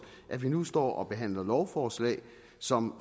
at vi nu står og behandler lovforslag som